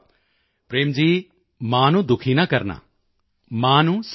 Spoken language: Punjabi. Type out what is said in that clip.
ਪ੍ਰੇਮ ਜੀ ਮਾਂ ਨੂੰ ਦੁਖੀ ਨਾ ਕਰਨਾ ਮਾਂ ਨੂੰ ਸਮਝਾਉਣਾ